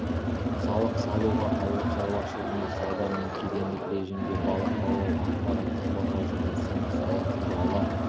салық салуға ауыл шаруашылығына сауда мен кедендік режимге балық аулау ақпаратты қорғау және санкциялар туралы